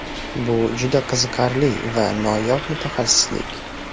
Bu juda qiziqarli va noyob mutaxassislik.